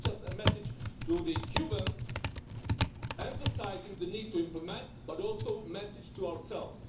It is not just a message to the Cubans emphasising the need to implement, but also a message to ourselves.